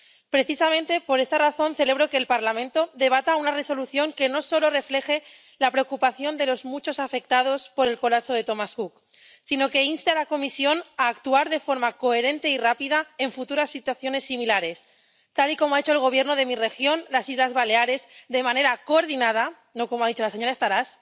Precisamente por esta razón, celebro que el Parlamento debata una propuesta de Resolución que no solo refleje la preocupación de los muchos afectados por el colapso de Thomas Cook, sino que inste a la Comisión a actuar de forma coherente y rápida en futuras situaciones similares, tal y como ha hecho el Gobierno de mi región, las Islas Baleares, de manera coordinada —no como ha dicho la señora Estaràs—